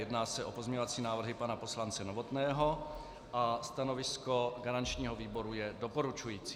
Jedná se o pozměňovací návrhy pana poslance Novotného a stanovisko garančního výboru je doporučující.